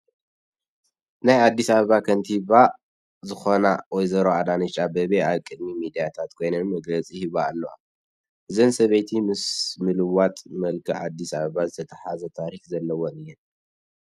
ናይ ኣዲስ ኣባባ ከተማ ከንቲባ ዝኾና ወይዘሮ ኣዳነሽ ኣበቤ ኣብ ቅድሚ ሚድያታት ኮይነን መግለፂ ይህባ ኣለዋ፡፡ እዘን ሰበይቲ ምስ ምልዋጥ መልክዕ ኣዲስ ኣባባ ዝተተሓሓዘ ታሪክ ዘለወን እየን፡፡